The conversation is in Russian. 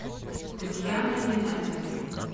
татьяна геннадьевна